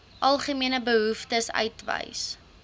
algemene behoeftes uitwys